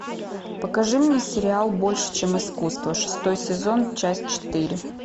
покажи мне сериал больше чем искусство шестой сезон часть четыре